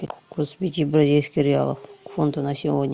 курс пяти бразильских реалов к фунту на сегодня